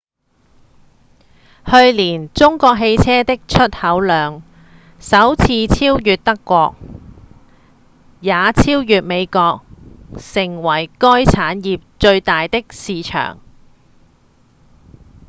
去年中國汽車的出口量首次超越德國也超越美國成為該產業最大的市場